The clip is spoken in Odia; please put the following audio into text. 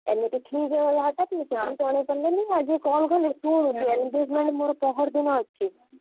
ଏମିତି ଠିକ ହେଇଗଲା ହଠାତ ମୁଁ ଜଣେଇପାରିଲିନି ଆଜି call କଲି। ଶୁଣୁ engagement ମୋର ପହରଦିନ ଅଛି।